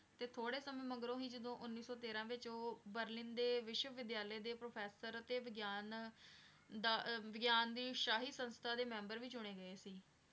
ਤੇ ਥੋੜ੍ਹੇ ਸਮੇਂ ਮਗਰੋਂ ਹੀ ਜਦੋਂ ਉੱਨੀ ਸੌ ਤੇਰਾਂ ਵਿੱਚ ਉਹ ਬਰਲਿਨ ਦੇ ਵਿਸ਼ਵ ਵਿਦਿਆਲੇ ਦਾ professor ਅਤੇ ਵਿਗਿਆਨ ਦਾ ਵਿਗਿਆਨ ਦੀ ਸ਼ਾਹੀ ਸੰਸਥਾ ਦੇ ਮੈਂਬਰ ਵੀ ਚੁਣੇ ਗਏ ਸੀ।